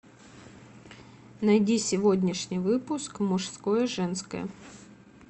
найди сегодняшний выпуск мужское и женское